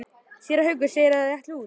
Séra Haukur segir að þau ætli út.